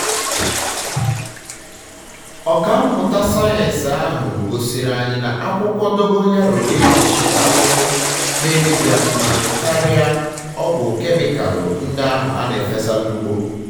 ọka mmụta sayensị ahụ gosiri anyị na akwụkwọ dogoyaro na egbochi ahụhụ na-emebi akụmakụ karia ọgwụ kemịkalụ ndị ahụ a na-efesa na ugbo